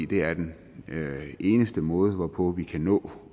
det er den eneste måde hvorpå vi kan nå